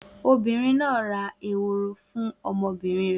Obìnrin náà ra ehoro fún ọmọbìnrin rẹ̀.